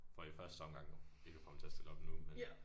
For i første omgang jo ikke at få ham til at stille op nu men